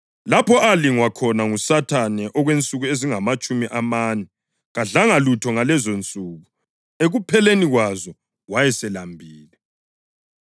lapho alingwa khona nguSathane okwensuku ezingamatshumi amane. Kadlanga lutho ngalezonsuku, ekupheleni kwazo, wayeselambile.